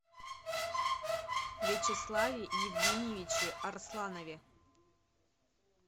вячеславе евгеньевиче арсланове